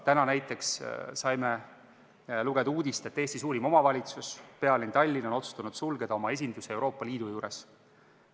Täna näiteks saime lugeda uudist, et Eesti suurim omavalitsus, pealinn Tallinn on otsustanud sulgeda oma esinduse Euroopa Liidu juures.